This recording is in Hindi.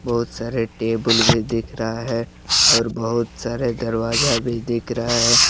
बहुत सारे टेबल भी दिख रहा है और बहुत सारे दरवाजा भी दिख रहा है।